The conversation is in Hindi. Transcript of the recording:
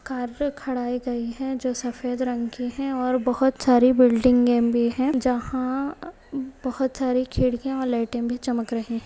कार गई है जो सफेद रंग के है और बहुत सारे बिल्डिंगे भी है जहां बहुत सारी खिड़किया और लाइटे भी चमक रही हैं।